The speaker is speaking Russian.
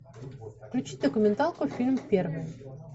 включи документалку фильм первый